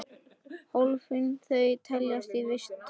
Hólfin þau teljast víst tólf.